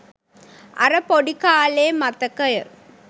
අර පොඩි කාලේ මතකය